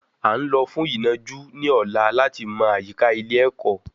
À ń lọ fún ìnàjú ní ọ̀la láti mọ àyíká ilé ẹ̀kọ́